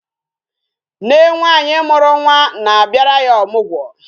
Nne nwaanyị mụrụ nwa na a bịara ya ọmụgwọ